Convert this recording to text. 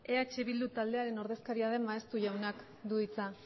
eh bildu taldearen ordezkaria den maeztu jaunak du hitza